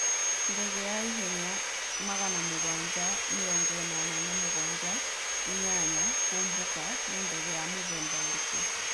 Ndege ya ihenya 787-8 kũmbuka nĩ ndege ya mũthemba ũrĩkũ?